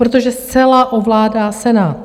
Protože zcela ovládá Senát.